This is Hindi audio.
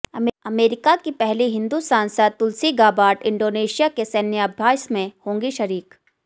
अमेरिका की पहली हिंदू सांसद तुलसी गाबार्ड इंडोनेशिया के सैन्य अभ्यास में होंगी शरीक